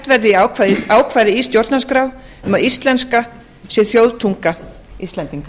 verði ákvæði í stjórnarskrá um að íslenska sé þjóðtunga íslendinga